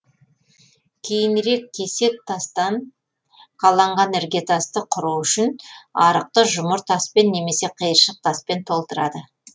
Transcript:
кейінірек кесек тастан қаланған іргетасты құру үшін арықты жұмыр таспен немесе қиыршық таспен толтырады